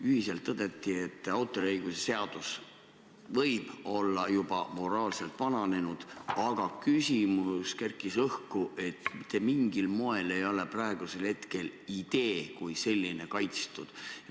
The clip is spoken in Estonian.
Ühiselt tõdeti, et autoriõiguse seadus võib olla juba moraalselt vananenud, eriti kerkis õhku küsimus, et mitte mingil moel ei ole praegusel hetkel idee kui selline kaitstud.